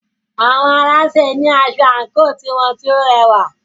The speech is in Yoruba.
Àwọn alásè ní asọ àńkò tiwọn tí o rẹwà.